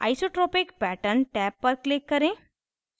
isotropic pattern tab पर click करें